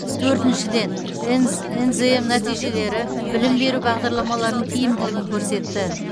төртіншіден нзм нәтижелері білім беру бағдарламаларының тиімділігін көрсетті